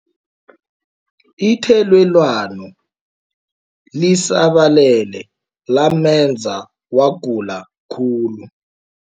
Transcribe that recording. Ithelelwano lisabalele lamenza wagula khulu.